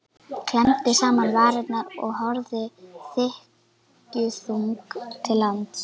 Klemmdi saman varirnar og horfði þykkjuþung til lands.